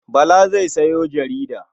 Bala zai sayo jarida.